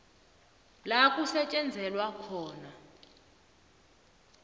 la kusetjenzelwa khona